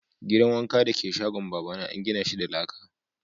Gidan wanka dake shagon baba na an gina shi da laka.